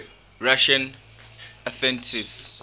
russian atheists